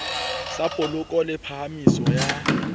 sa poloko le phahamiso ya